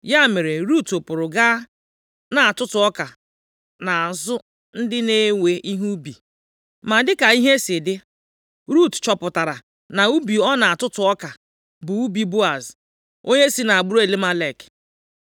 Ya mere, Rut pụrụ gaa na-atụtụ ọka nʼazụ ndị na-ewe ihe ubi. Ma dịka ihe si dị, Rut chọpụtara na ubi ọ na-atụtụ ọka bụ ubi Boaz, onye si nʼagbụrụ Elimelek.